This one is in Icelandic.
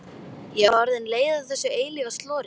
Ég var bara orðin leið á þessu eilífa slori.